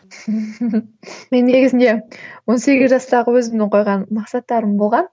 мен негізінде он сегіз жастағы өзімнің қойған мақсаттарым болған